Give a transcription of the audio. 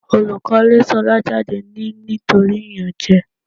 Olùkọ́ lé Ṣolá jáde ní nítorí ìyànjẹ.